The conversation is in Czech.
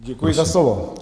Děkuji za slovo.